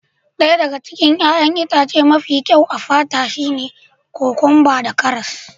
Ɗaya daga cikin 'ya'yan itace mafi kyau a fata shine kokwamba da karas.